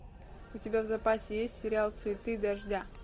у тебя в запасе есть сериал цветы дождя